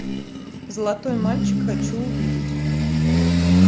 золотой мальчик хочу увидеть